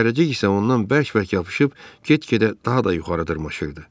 Zərrəcik isə ondan bərk bərk yapışıb get-gedə daha da yuxarı dırmaşırdı.